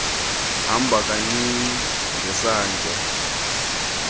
hamba kancinci ngesantya